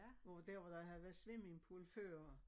Hvor dér hvor der havde været swimmingpool før